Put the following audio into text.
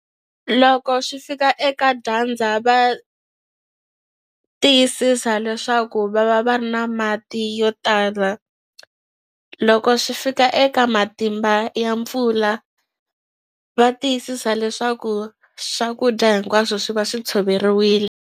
Loko swi fika eka dyandza va tiyisisa leswaku va va va ri na mati yo tala loko swi fika eka matimba ya mpfula va tiyisisa leswaku swakudya hinkwaswo swi va swi tshoveriwile.